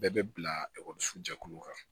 Bɛɛ bɛ bila jɛkuluw kan